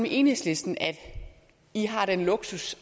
enhedslisten at i har den luksus